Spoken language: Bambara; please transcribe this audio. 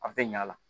A tɛ ɲa a la